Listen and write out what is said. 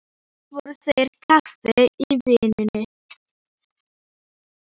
Brátt voru þeir á kafi í vinnunni.